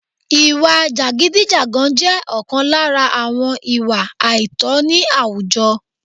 ìwà jàgídíjàgan jẹ́ ọ̀kan lára àwọn ìwà àìtọ̀ ní àwùjọ